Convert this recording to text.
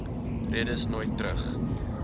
redes nooit terug